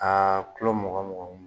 Aa kulo mugan muganw.